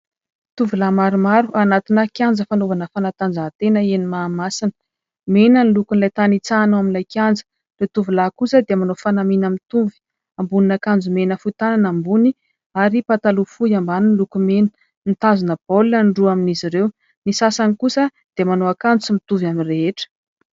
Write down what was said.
tovolahy maromaro anatina kianja fanaovana fanatanjahantena eny Mahamasina ; mena ny lokon'ilay tany itsahana ao amin'ilay kianja , ny tovolahy kosa dia manao fanamiana mitovy, ambonin'ankanjo mena fohy tanana ambony ary pataloha fohy ambany miloko mena , mitazona baolina ny roa amin'izy ireo , ny sasany kosa dia manao akanjo mitovy amin'ny rehetra